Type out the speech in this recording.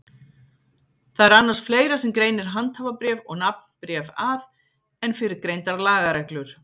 Það er annars fleira sem greinir handhafabréf og nafnbréf að en fyrrgreindar lagareglur.